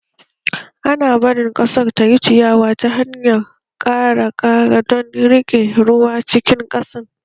Ana barin ƙasar tayi ciyawa ta hanyar ƙara kara don riƙe ruwa cikin ƙasan